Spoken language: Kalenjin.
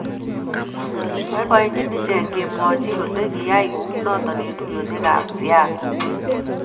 boiboichini iche ngemwachini kole kiyae kunoto eng tuiyoshek kab siaset